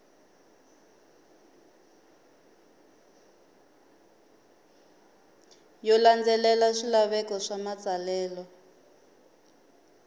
yo landzelela swilaveko swa matsalelo